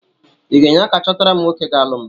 Ị ga-enye aka chọtara m nwoke ga-alụ m?